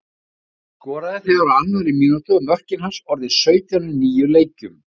Skoraði þegar á annarri mínútu, og mörkin hans orðin sautján í níu leikjum.